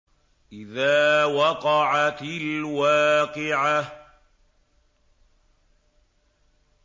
إِذَا وَقَعَتِ الْوَاقِعَةُ